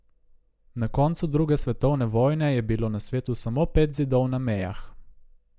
Na koncu druge svetovne vojne je bilo na svetu samo pet zidov na mejah.